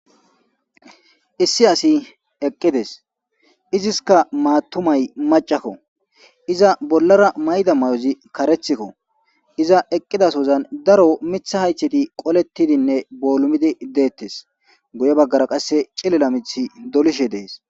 issi asi eqqides iziska maatumay macakko iza bollara mayda may7ozi karethikko iza eqqidasozan daro mitha haytheti qolettidinne boolumidi deettes guye baggara qasse cilila mithi dolishe dees